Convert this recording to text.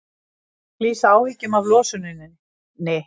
Lýsa áhyggjum af losuninni